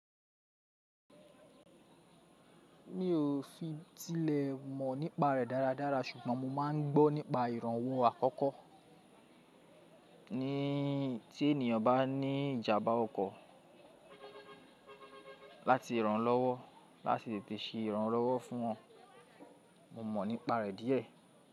Mi ò fi tilẹ̀ mọ̀ nípa rẹ̀ dáradára ṣùgbọ́n mo máa ń gbọ́ nípa ìrànwọ́ àkọ́kọ́ tí ènìyàn bá ní ìjàmbá ọkọ̀ láti ìrànlọ́wọ́ láti tètè ṣe ìrànlọ́wọ́ fún wọn. Mo mọ̀ nípa rẹ̀ díẹ̀.